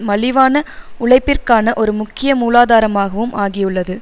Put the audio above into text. மலிவான உழைப்பிற்கான ஒரு முக்கிய மூலாதாரமாகவும் ஆகியுள்ளது